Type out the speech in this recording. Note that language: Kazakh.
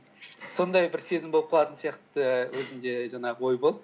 сондай бір сезім болып қалатын сияқты өзімде жаңағы ой болды